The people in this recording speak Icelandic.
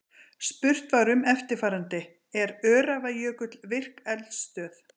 Spurt var um eftirfarandi: Er Öræfajökull virk eldstöð?